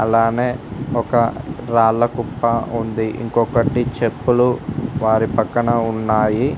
అలానే ఒక రాళ్ల కుప్ప ఉంది ఇంకొకటి చెప్పులు వారి పక్కన ఉన్నాయి.